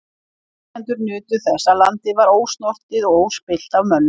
Innflytjendur nutu þess að landið var ósnortið og óspillt af mönnum.